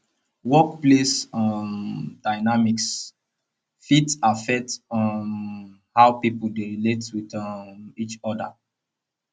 workplace um dynamics fit affect um how pipo dey relate with um each oda